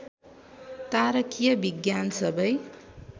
तारकीय विज्ञान सबै